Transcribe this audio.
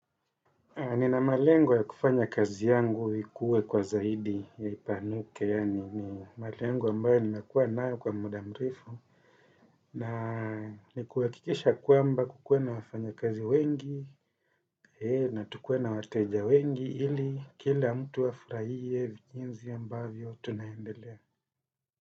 Ni na malengo ya kufanya kazi yangu ikuwe kwa zaidi ya ipanuke, yani ni malengo ambao nimekuwa nayo kwa muda mrefu, na ni kuhakikisha kwamba kukuwe na wafanya kazi wengi, na tukuwe na wateja wengi, ili kila mtu afurahie vijinzi ya mbavyo tunaendelea.